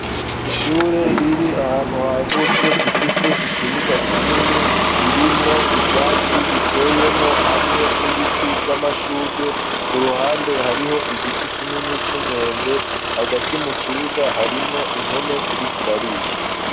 Ishure riri ahantu hagutse rifise ikibuga kinini ririmwo ivyatsi biteyemwo hamwe n'ibiti vy'amashugwe kuruhande hariho igiti kinini c'umwembe hagati mu kibuga harimwo impene iriko irarisha.